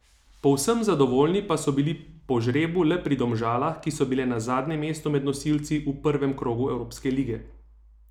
Povsem zadovoljni pa so bili po žrebu le pri Domžalah, ki so bile na zadnjem mestu med nosilci v prvem krogu Evropske lige.